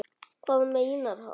Hvað meinar hann?